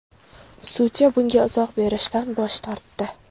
Sudya bunga izoh berishdan bosh tortdi.